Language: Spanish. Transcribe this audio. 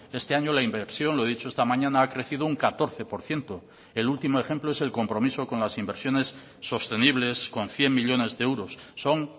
este año la inversión lo he dicho esta mañana ha crecido un catorce por ciento el último ejemplo es el compromiso con las inversiones sostenibles con cien millónes de euros son